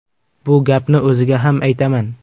Bu gapni o‘ziga ham aytaman.